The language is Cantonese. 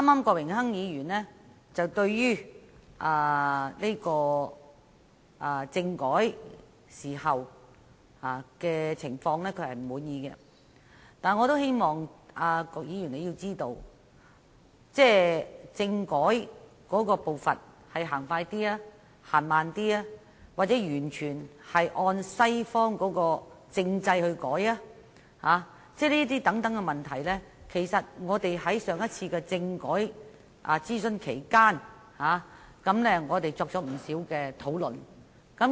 郭榮鏗議員剛才指他不滿意政改的情況，但我也希望郭議員知道，政改步伐的快慢、改革是否完全按照西方政制等問題在上次政改諮詢期間，我們已作出不少討論。